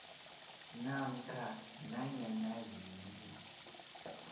namkha nanyana yini